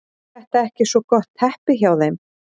Er þetta ekki svo gott teppi hjá þeim?